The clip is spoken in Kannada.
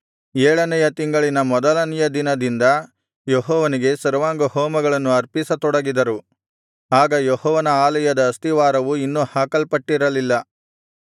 ಏಳನೆಯ ತಿಂಗಳಿನ ಮೊದಲನೆಯ ದಿನದಿಂದ ಯೆಹೋವನಿಗೆ ಸರ್ವಾಂಗಹೋಮಗಳನ್ನು ಅರ್ಪಿಸತೊಡಗಿದರು ಆಗ ಯೆಹೋವನ ಆಲಯದ ಅಸ್ತಿವಾರವು ಇನ್ನೂ ಹಾಕಲ್ಪಟ್ಟಿರಲಿಲ್ಲ